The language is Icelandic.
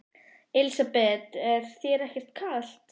Elísabet: Er þér ekkert kalt?